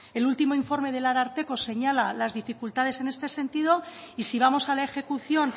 el último informe del ararteko señala las dificultades en este sentido y si vamos a la ejecución